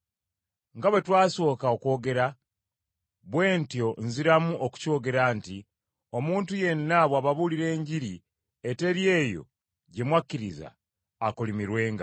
Nga bwe twasooka okwogera, bwe ntyo nziramu okukyogera nti, omuntu yenna bw’ababuulira Enjiri eteri eyo ggye mwakkiriza akolimirwenga.